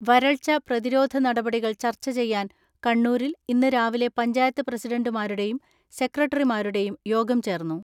വരൾച്ച പ്രതിരോധ നടപടികൾ ചർച്ച ചെയ്യാൻ കണ്ണൂരിൽ ഇന്ന് രാവിലെ പഞ്ചായത്ത് പ്രസിഡന്റുമാരുടെയും സെക്രട്ട റിമാരുടെയും യോഗം ചേർന്നു.